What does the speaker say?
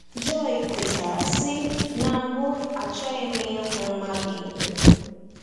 Joy kwetara, sị: “Na mbụ, achọghị m ịhụ mmadụ ihu.”